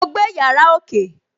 Mo gbé yàrá ókè